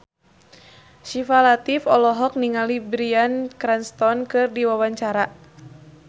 Syifa Latief olohok ningali Bryan Cranston keur diwawancara